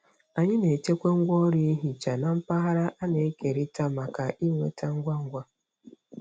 Anyị na-echekwa ngwaọrụ ihicha na mpaghara a na-ekerịta maka ịnweta ngwa ngwa.